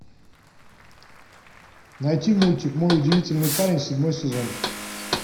найти мультик мой удивительный парень седьмой сезон